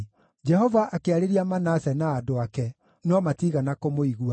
Jehova akĩarĩria Manase na andũ ake, no matiigana kũmũigua.